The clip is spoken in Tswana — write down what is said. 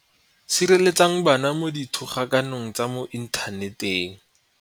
Sireletsa bana mo dithogakanong tsa mo inthaneteng.